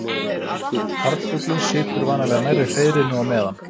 Karlfuglinn situr vanalega nærri hreiðrinu á meðan.